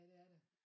Ja det er der